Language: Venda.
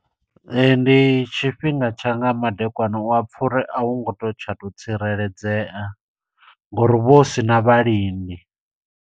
Ee, ndi tshifhinga tsha nga madekwana uya pfa uri, a hu ngo to tsha to tsireledzea, ngo uri hu vha hu sina vhalindi.